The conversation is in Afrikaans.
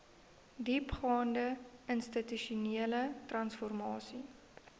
diepgaande institusionele transformasie